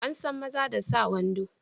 An san maza da sa wando.